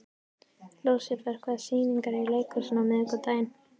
Lúsifer, hvaða sýningar eru í leikhúsinu á miðvikudaginn?